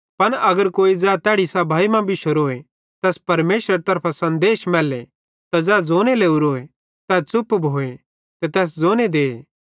पन अगर कोई ज़ै तैड़ी सभाई मां बिशोरोए तैस परमेशरेरे तरफां सन्देश मैल्ले त ज़ै ज़ोने लोरोए तै च़ुप भोए ते तैस ज़ोने दे